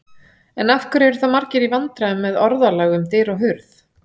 En af hverju eru þá margir í vandræðum með orðalag um dyr og hurð?